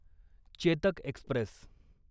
Chetak Express